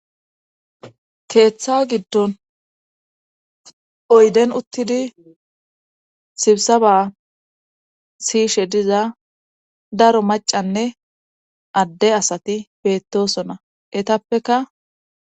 keeththa giddon oyden uttidi sibsa ba siishe diza daro macanne adde asati beettosona etappeka